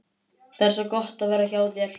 Það er svo gott að vera hjá þér.